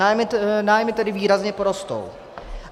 Nájmy tedy výrazně porostou.